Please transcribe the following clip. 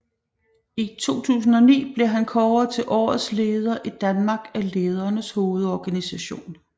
I 2009 blev han kåret til Årets Leder i Danmark af Ledernes Hovedorganisation